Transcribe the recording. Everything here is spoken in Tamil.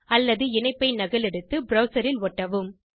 அல்லது இணைப்பை நகலெடுத்து ப்ரவ்சர் இல் ஒட்டவும்